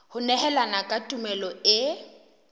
ho nehelana ka tumello e